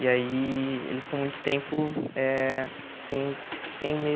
E aí ele ficou muito tempo eh sem sem meio